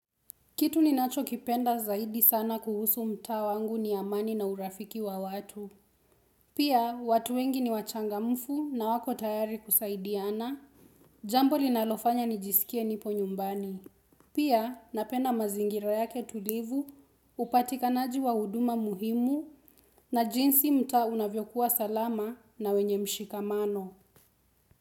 Kitu ninacho kipenda zaidi sana kuhusu mtaa wangu ni amani na urafiki wa watu. Pia, watu wengi ni wachangamfu na hawako tayari kusaidiana. Jambo linalofanya nijisikie nipo nyumbani. Pia, napenda mazingira yake tulivu, hupatikanaji wa huduma muhimu, na jinsi mtaa unavyokuwa salama na wenye mshikamano.